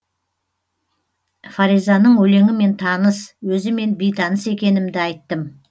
фаризаның өлеңімен таныс өзімен бейтаныс екенімді айттым